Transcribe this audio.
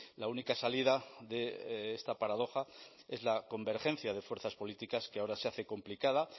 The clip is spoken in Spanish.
la única salida de esta paradoja es la convergencia de fuerzas políticas que ahora se hace complicada